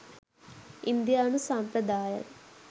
ඉන්දියානු සම්ප්‍රදායන්